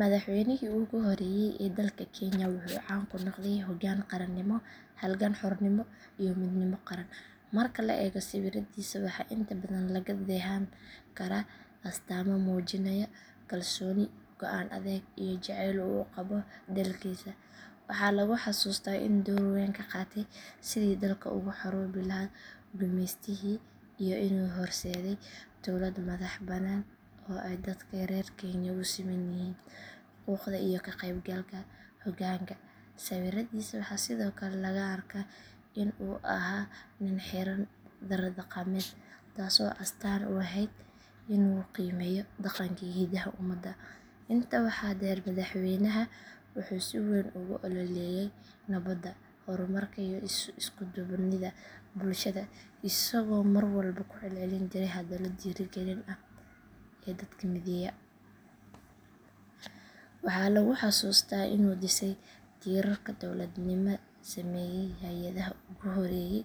Madaxweynihii ugu horeeyay ee dalka kenya wuxuu caan ku noqday hoggaan qaranimo, halgan xornimo iyo midnimo qaran. Marka la eego sawirradiisa waxaa inta badan laga dheehan karaa astaamo muujinaya kalsooni, go’aan adag iyo jacayl uu u qabo dalkiisa. Waxaa lagu xasuustaa inuu door weyn ka qaatay sidii dalka uga xoroobi lahaa gumeystihii iyo inuu horseeday dowlad madax bannaan oo ay dadka reer kenya u siman yihiin xuquuqda iyo ka qaybgalka hoggaanka. Sawirradiisa waxaa sidoo kale laga arkaa in uu ahaa nin xiran dhar dhaqameed, taas oo astaan u ahayd inuu qiimeeyo dhaqanka iyo hiddaha ummadda. Intaa waxaa dheer madaxweynahan wuxuu si weyn ugu ololeeyay nabadda, horumarka iyo isku duubnida bulshada isagoo mar walba ku celcelin jiray hadallo dhiirrigelin ah oo dadka mideeya. Waxaa lagu xusuustaa inuu dhisay tiirarka dowladnimada, sameeyay hay’adaha ugu horreeyay